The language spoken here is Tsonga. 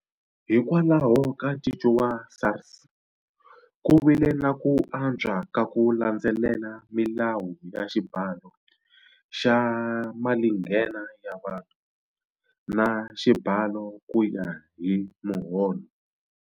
Hikwalaho ka ncinco wa SARS ku vile na ku antswa ka ku landzelela milawu ya xibalo xa malinghena ya vanhu, na Xibalo ku ya hi Muholo.